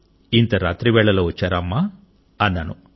ఇంత రాత్రివేళలో వచ్చారా అమ్మా అన్నాను